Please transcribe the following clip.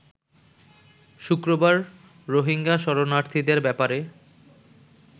শুক্রবার রোহিঙ্গা শরণার্থীদের ব্যাপারে